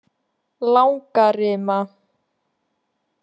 Langarima